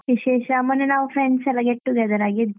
ವಿಶೇಷ ಮೊನ್ನೆ ನಾವು friends ಎಲ್ಲಾ get together ಆಗಿದ್ವಿ